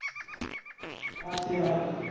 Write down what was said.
હાચી વાત